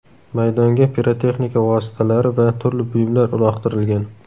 Maydonga pirotexnika vositalari va turli buyumlar uloqtirilgan.